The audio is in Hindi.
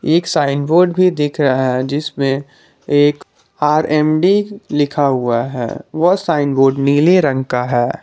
एक साइन बोर्ड भी दिख रहा है जिसमें एक आर_एम_डी लिखा हुआ है वह साइन बोर्ड नीला रंग का है।